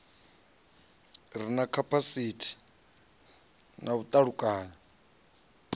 ri na vhapikisi na vhaluṱanyi